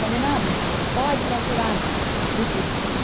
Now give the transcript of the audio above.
Falei, não, minha filha, pode procurar recurso.